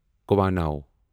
کوانو